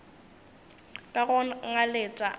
ka go ngaletša a re